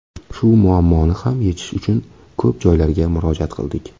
Shu muammoni ham yechish uchun ko‘p joylarga murojaat qildik.